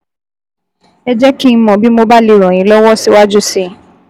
Ẹ jẹ́ kí n mọ̀ bí mo bá lè ràn yín lọ́wọ́ síwájú sí i